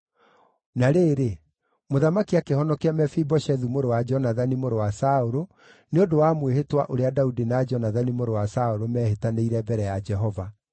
Na rĩrĩ, mũthamaki akĩhonokia Mefiboshethu mũrũ wa Jonathani, mũrũ wa Saũlũ, nĩ ũndũ wa mwĩhĩtwa ũrĩa Daudi na Jonathani mũrũ wa Saũlũ meehĩtanĩire mbere ya Jehova.